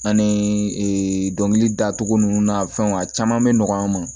Ani ee dɔnkili da cogo nunnu na fɛnw a caman be nɔgɔ an ma